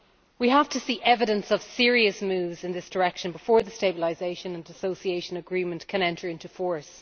We have to see evidence of serious moves in this direction before the Stabilisation and Association Agreement can enter into force.